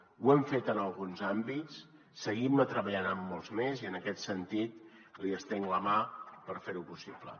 ho hem fet en alguns àmbits seguim treballant en molts més i en aquest sentit li estenc la mà per fer ho possible